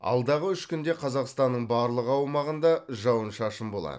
алдағы үш күнде қазақстаннның барлық аумағында жауын шашын болады